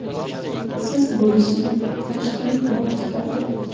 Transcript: Siz bo‘lishing, Toshkent quloq tutadi”.